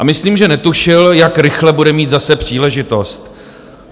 A myslím, že netušil, jak rychle bude mít zase příležitost.